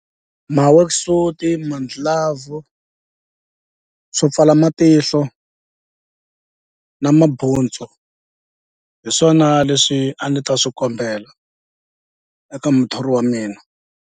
Ma-worksuit-i mandlilavhu swo pfala matihlo na mabuntsu hi swona leswi a ni ta swi kombela eka muthori wa mina.